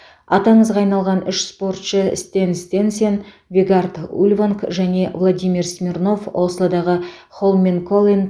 аты аңызға айналған үш спортшы стен стенсен вегард ульванг және владимир смирнов ослодағы холменколлен